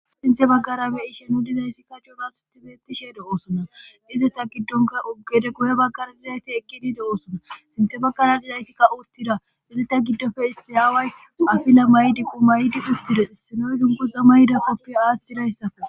Sinthe baggarabe ishe nu dizayssikka coonastibeetisheede oosona dizeta giddonka uggede guhe baggara dizayti eki diide oosona sinthe baggara dizaytikka uttida dizeta giddofe issayaaway afile maydi qu maydi uttida issinoy dunku zamayida koppia aathidayssafe.